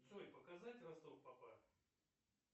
джой показать ростов папа